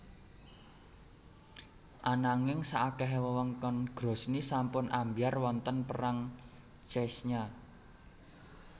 Ananging saakehe wewengkon Grozny sampun ambyar wonten Perang Chechnya